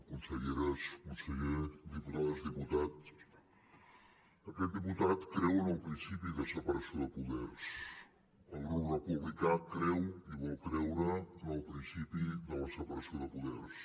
conselleres conseller diputades diputats aquest diputat creu en el principi de separació de poders el grup republicà creu i vol creure en el principi de la separació de poders